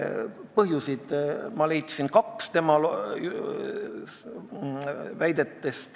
Põhjuseid leidsin ma tema väidetest kaks.